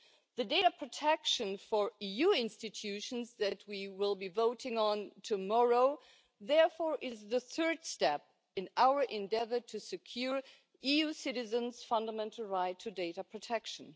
The data protection rules for EU institutions that we will be voting on tomorrow is, therefore, the third step in our endeavour to secure EU citizens' fundamental right to data protection.